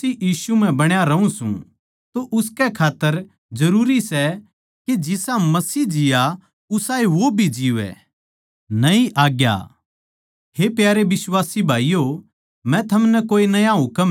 फेर भी मै थमनै नया हुकम लिखूँ सूं उस हुकम की सच्चाई मसीह म्ह थी अर वाए थारे म्ह भी सै क्यूँके अन्धकार मिटता जावै सै अर सच का चान्दणा इब चमकण लाग्या सै